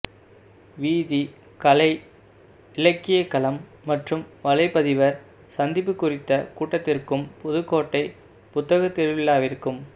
வீதி கலை இலக்கியக்களம் மற்றும் வலைப்பதிவர் சந்திப்பு குறித்த கூட்டத்திற்கும் புதுக்கோட்டை புத்தகத்திருவிழாவிற்கும்